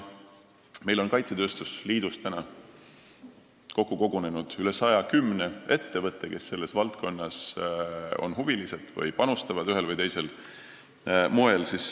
Meil on kaitsetööstuse liitu tänaseks kogunenud üle 110 ettevõtte, kes on selle valdkonna huvilised või panustavad sinna ühel või teisel moel.